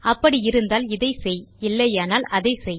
அப்படி இருந்தால் இதை செய் இல்லையானால் அதை செய்